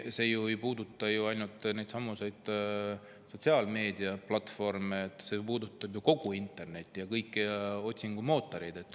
See ei puuduta ju ainult sotsiaalmeediaplatvorme, see puudutab kogu internetti ja otsingumootoreid.